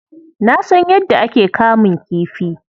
Na san yadda ake kamun kifi.